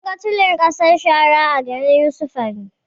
Mun ga tulin ƙasar sahara a garin yusufari